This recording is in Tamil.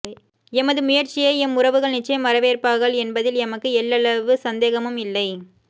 எமது முயற்சியை எம் உறவுகள் நிட்சயம் வரவேற்பார்கள் என்பதில் எமக்கு எள்ளளவு சந்தேகமும் இல்லை